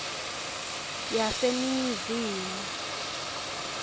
yaseningizimu